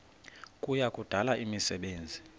kuya kudala imisebenzi